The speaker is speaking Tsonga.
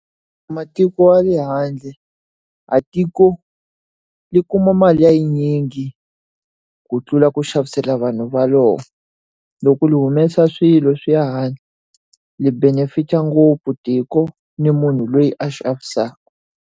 Matiko ya le handle. A tiko ri ku yi kuma mali ya yinyingi, ku tlula ku xavisela vanhu va rona. Loko ri humesa swilo swi ya handle, ri benefit-a ngopfu tiko ni munhu loyi a xavisaka.